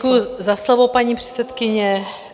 Děkuji za slovo, paní předsedkyně.